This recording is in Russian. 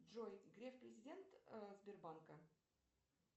джой греф президент сбербанка